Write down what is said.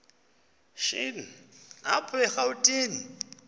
shini apho erawutini